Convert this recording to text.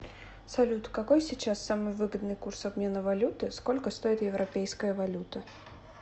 салют какой сейчас самый выгодный курс обмена валюты сколько стоит европейская валюта